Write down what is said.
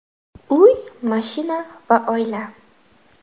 Uy, mashina va oila.